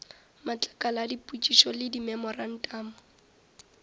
matlakala a dipotšišo le dimemorantamo